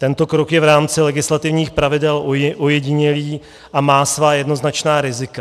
Tento krok je v rámci legislativních pravidel ojedinělý a má svá jednoznačná rizika.